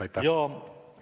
Aitäh!